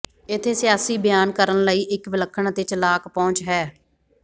ਇੱਥੇ ਸਿਆਸੀ ਬਿਆਨ ਕਰਨ ਲਈ ਇੱਕ ਵਿਲੱਖਣ ਅਤੇ ਚਲਾਕ ਪਹੁੰਚ ਹੈ